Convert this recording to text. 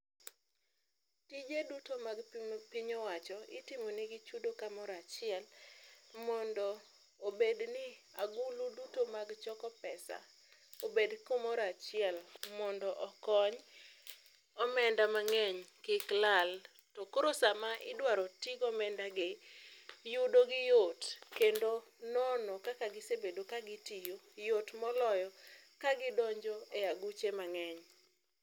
Tije duto mag piny owacho itimonegi chudo kamoro achiel mondo obedni agulu duto mag choko pesa obed kumoro achiel mondo okony omenda mang'eny kik lal. To koro sama idwaro tigo omenda gi, yudogi yot kendo nono kaka kisebedo kagitiyo yot moloyo ka gidonjo e aguche mang'eny.